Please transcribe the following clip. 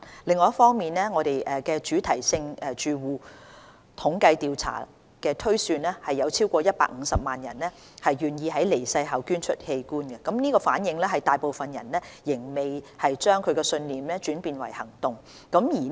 另一方面，《主題性住戶統計調查》推算有超過150萬人願意在離世後捐出器官，反映有大部分人仍未將信念轉變為行動。